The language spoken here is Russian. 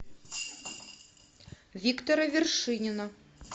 виктора вершинина